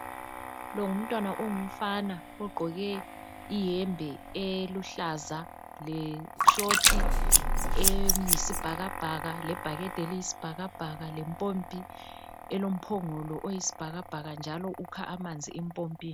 Lo ngumntwana ongumfana ugqoke iyembe eluhlaza le"short" eyisibhakabhaka, lebhakede eliyisibhakabhaka, lempompi elomphongolo oyisibhakabhaka njalo ukha amanzi empompini.